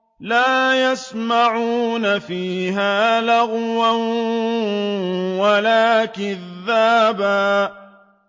لَّا يَسْمَعُونَ فِيهَا لَغْوًا وَلَا كِذَّابًا